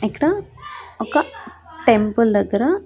ఇక్కడ ఒక టెంపుల్ దగ్గర.